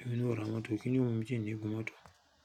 èmi ná ó ra mọ́tò. Kíni ó mumi ti nni gún mọ́tò?